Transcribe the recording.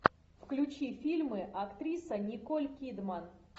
включи фильмы актриса николь кидман